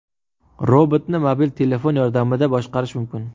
Robotni mobil telefon yordamida boshqarish mumkin.